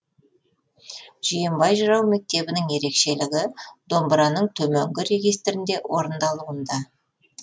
жиенбай жырау мектебінің ерекшелігі домбыраның төменгі регистрінде орындалуында